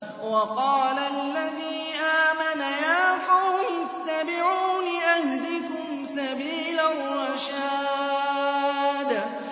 وَقَالَ الَّذِي آمَنَ يَا قَوْمِ اتَّبِعُونِ أَهْدِكُمْ سَبِيلَ الرَّشَادِ